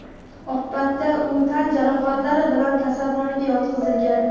Oqibatda u tan jarohatlari bilan kasalxonaga yotqizilgan.